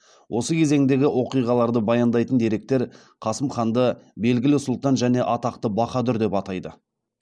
осы кезеңдегі оқиғаларды баяндайтын деректер қасым ханды белгілі сұлтан және атақты баһадүр деп атайды